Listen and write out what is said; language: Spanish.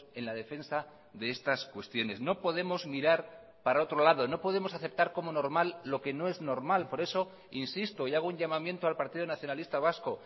en la defensa de estas cuestiones no podemos mirar para otro lado no podemos aceptar como normal lo que no es normal por eso insisto y hago un llamamiento al partido nacionalista vasco